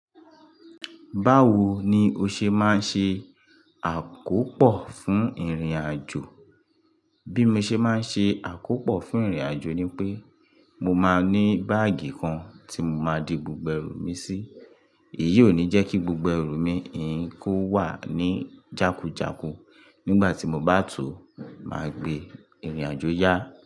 Báwo ni o ṣe máa ń ṣe àkópò fún ìrìnàjò? Bí mo ṣe máa ń ṣe àkópò fún ìrìnàjò ni pé mo máa ní báàgì kan tí mo máa di gbogbo ẹrù mi sí. Èyí ò ní jẹ́ kí gbogbo ẹrù mi yìí kó wà ní jákújáku nígbà tí mo bá tò máa gbé ìrìnàjò yá.